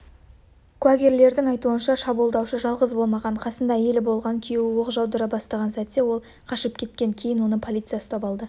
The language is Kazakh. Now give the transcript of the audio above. куәгерлердің айтуынша шабуылдаушы жалғыз болмаған қасында әйелі болған күйеуі оқ жаудыра бастаған сәтте ол қашып кеткен кейін оны полиция ұстап алды